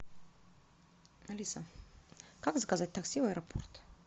алиса как заказать такси в аэропорт